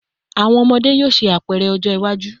Awọn ọmọde yoo ṣe apẹrẹ ọjọ iwaju